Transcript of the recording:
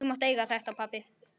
Þú mátt eiga þetta.